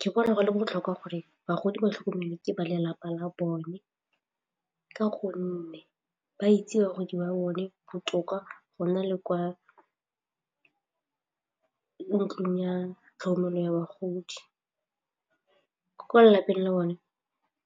Ke bona go le botlhokwa gore bagodi ba tlhokomele ke ba lelapa la bone ka gonne ba itse bagodi ba bone botoka go nna le kwa ntlong ya tlhokomelo ya bagodi kwa lapeng le bone